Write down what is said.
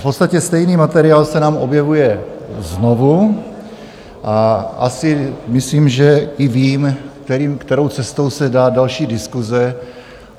V podstatě stejný materiál se nám objevuje znovu a asi myslím, že i vím, kterou cestou se dá další diskuse.